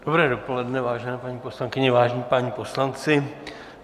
Dobré dopoledne, vážené paní poslankyně, vážení páni poslanci.